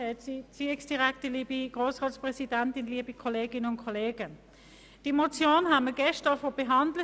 Es handelt sich um eine Motion von Luc Mentha mit dem Titel «Kein Kahlschlag bei den kulturellen Aufgaben und Leistungen zugunsten der Bundesstadt».